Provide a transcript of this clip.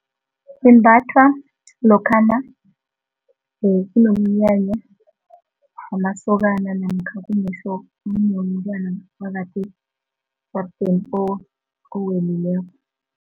Imbathwa lokhana kunomnyanya wamasokana namkha kunomtwana ngaphakathi ejaradeni owelileko.